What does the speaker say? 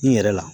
I yɛrɛ la